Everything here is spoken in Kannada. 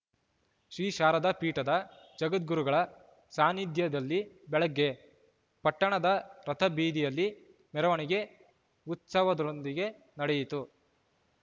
ಶ್ರೀ ಶಾರದಾ ಪೀಠದ ಜಗದ್ಗುರುಗಳ ಸಾನ್ನಿಧ್ಯದಲ್ಲಿ ಬೆಳಗ್ಗೆ ಪಟ್ಟಣದ ರಥಬೀದಿಯಲ್ಲಿ ಮೆರವಣಿಗೆ ಉತ್ಸವದೊಂದಿಗೆ ನಡೆಯಿತು